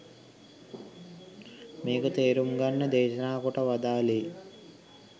මේක තේරුම් ගන්න දේශනා කොට වදාළේ.